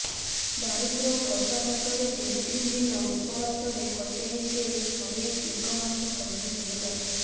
ଦାରିଦ୍ର କଷାଘାତରେ ତିନି ତିନି ଦିନ ଉପବାସରେ କଟେଇ ସେ ହରେଇଛି ଏକମାତ୍ର କନ୍ୟା ସବିତାକୁ